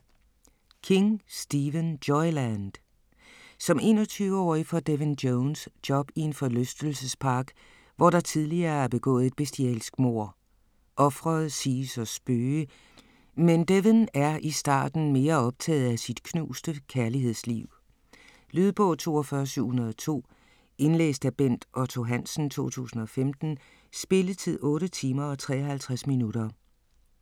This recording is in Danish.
King, Stephen: Joyland Som 21-årig får Devin Jones job i en forlystelsespark, hvor der tidligere er begået et bestialsk mord. Ofret siges at spøge, men Devin er i starten mere optaget af sit knuste kærlighedsliv. Lydbog 42702 Indlæst af Bent Otto Hansen, 2015. Spilletid: 8 timer, 53 minutter.